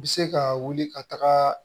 Bɛ se ka wuli ka taga